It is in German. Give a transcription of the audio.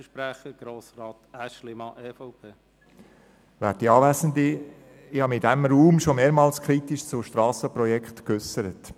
Ich habe mich in diesem Raum schon mehrmals kritisch zu Strassenprojekten geäussert.